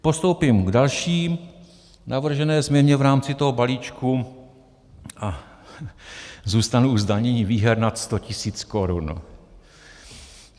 Postoupím k další navržené změně v rámci toho balíčku a zůstanu u zdanění výher nad 100 tisíc korun.